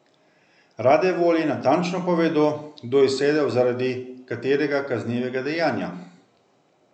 Rade volje natančno povedo, kdo je sedel zaradi katerega kaznivega dejanja.